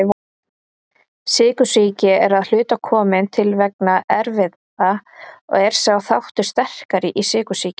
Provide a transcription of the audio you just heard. Sykursýki er að hluta komin til vegna erfða og er sá þáttur sterkari í sykursýki.